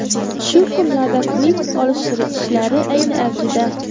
Shu kunlarda klip olish ishlari ayni avjida.